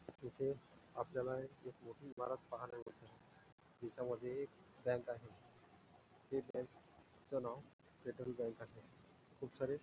तिथे आपल्याला एक मोठी इमारत पहायला मिळते त्याच्यामध्ये एक बँक आहे ते बँकच नाव फेडरल बँक आहे खूप सारे--